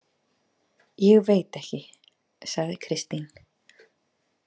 Ég veit ekki, sagði Kristín.